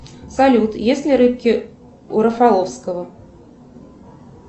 салют есть ли рыбки у рафаловского